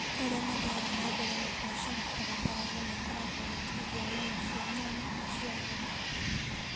Arĩa mathiaga na mbere na biacara barabara-inĩ makoragwo makĩendia nyama cia nyama na cia mboga.